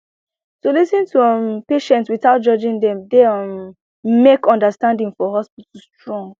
to lis ten to um patients without judging dem dey um make understanding for hospital strong